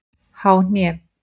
Há hné